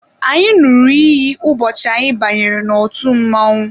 Anyị ṅụrụ iyi ụbọchị anyị bara n'otu mmọnwụ